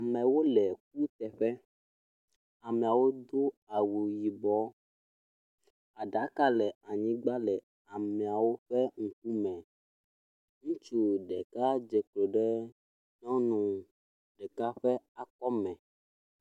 Amewo le kuteƒe, ameawo do awu yibɔ. Aɖaka le anyigba le ameawo ƒe ŋkume, ŋutsu ɖeka dze klo ɖe nyɔnu ɖeka ƒe akɔme.